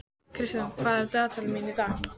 Kristian, hvað er í dagatalinu mínu í dag?